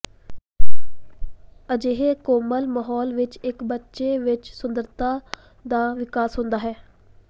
ਅਜਿਹੇ ਇੱਕ ਕੋਮਲ ਮਾਹੌਲ ਵਿੱਚ ਇੱਕ ਬੱਚੇ ਵਿੱਚ ਸੁੰਦਰਤਾ ਦਾ ਵਿਕਾਸ ਹੁੰਦਾ ਹੈ